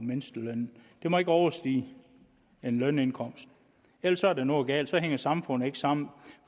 mindstelønnen det må ikke overstige en lønindkomst ellers er der noget galt så hænger samfundet ikke sammen